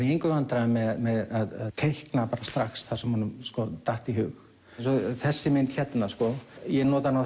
í neinum vandræðum með að teikna strax það sem honum datt í hug eins og þessi mynd hérna ég nota hana